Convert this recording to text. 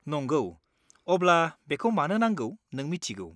नंगौ, अब्ला बेखौ मानो नांगौ नों मिथिगौ।